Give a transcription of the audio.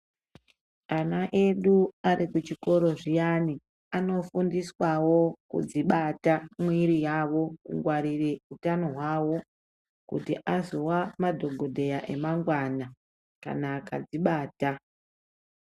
Ana edu ari kuchikoro zviyani, anofundiswawo kudzibata mwiri yavo, kungwarire utano hwavo, kuti azova madhokodheya emangwana, kana akadzibata.